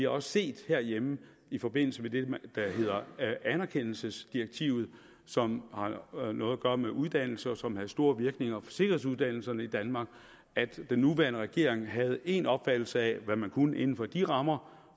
også set herhjemme i forbindelse med det der hedder anerkendelsesdirektivet som har noget at gøre med uddannelse og som havde store virkninger for sikkerhedsuddannelserne i danmark at den nuværende regering havde én opfattelse af hvad man kunne inden for de rammer